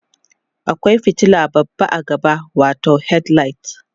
akwai fitila babba a gaba watau headlight